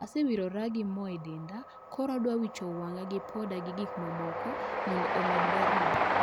Asewirora moo e denda, koro adwa wicho wang'a gi poda gi gik mamoko mondo omed berna